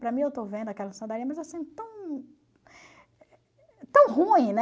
Para mim, eu estou vendo aquela sandália, mas assim, tão tão ruim, né?